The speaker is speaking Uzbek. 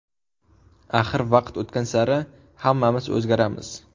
Axir vaqt o‘tgan sari hammamiz o‘zgaramiz.